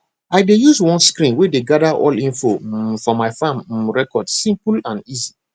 i dey use one screen way dey gather all info um for my farm um records simple and easy